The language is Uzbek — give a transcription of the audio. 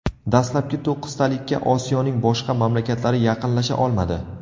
Dastlabki to‘qqiztalikka Osiyoning boshqa mamlakatlari yaqinlasha olmadi.